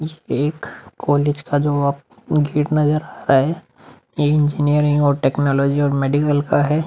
ये एक कॉलेज का जो आप गेट नजर आ रहा है ये इंजीनियरिंग और टेक्नॉलजी और मेडिकल का है।